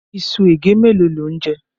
Iṣu ègé mélòó ni ó ń jẹ?